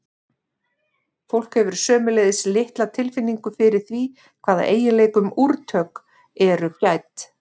fólk hefur sömuleiðis litla tilfinningu fyrir því hvaða eiginleikum úrtök eru gædd